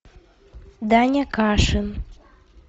даня кашин